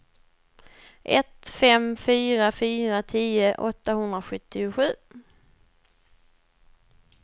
ett fem fyra fyra tio åttahundrasjuttiosju